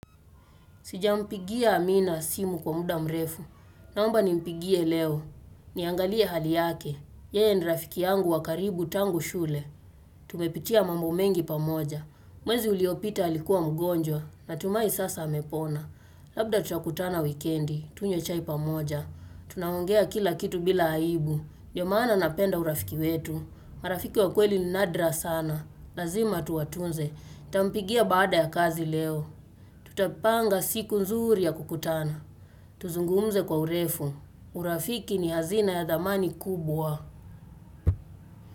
Sijampigia Amina simu kwa muda mrefu. Naomba nimpigie leo. Niangalie hali yake. Yeye ni rafiki yangu wa karibu tangu shule. Tumepitia mambo mengi pamoja. Mwezi uliopita alikuwa mgonjwa. Natumai sasa amepona. Labda tutakutana wikendi. Tunywe chai pamoja. Tunaongea kila kitu bila aibu. Ndio maana napenda urafiki wetu. Marafiki wa kweli ni nadra sana. Lazima tuwatunze. Nitampigia baada ya kazi leo. Tutapanga siku nzuri ya kukutana Tuzungumze kwa urefu urafiki ni hazina ya dhamani kubwa.